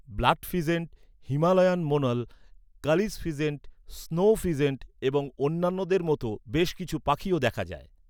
Blood pheasant, Himalayan monal, kalij pheasant, snow pheasant এবং অন্যান্যদের মতো বেশ কিছু পাখিও দেখা যায়।